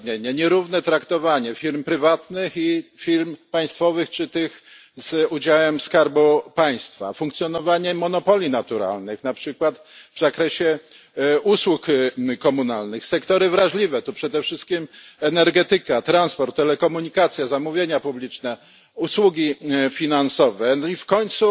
Nierówne traktowanie firm prywatnych i firm państwowych czy tych z udziałem skarbu państwa, funkcjonowanie monopoli naturalnych, na przykład w zakresie usług komunalnych, sektory wrażliwe przede wszystkim energetyka, transport, telekomunikacja, zamówienia publiczne, usługi finansowe i w końcu